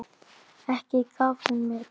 Ekki gaf hún mér gítar.